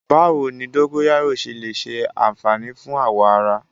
Báwo ni dógóyárò ṣe lè ṣe àfààní fún awọ ara?